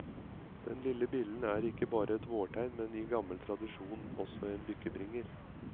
Denne lille billen er ikke bare et vårtegn, men i gammel tradisjon også en lykkebringer.